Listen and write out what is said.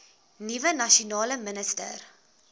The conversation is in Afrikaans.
nuwe nasionale minister